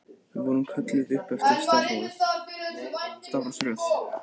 Við vorum kölluð upp eftir stafrófsröð.